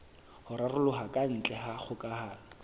ho raroloha kantle ha kgokahano